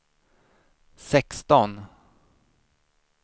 sexton